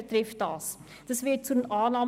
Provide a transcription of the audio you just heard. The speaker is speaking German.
Die Regierung empfiehlt ihn zur Annahme.